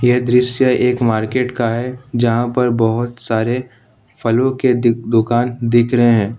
ये दृश्य एक मार्केट का है जहां पर बहुत सारे फलों के दुकान दिख रहे हैं ।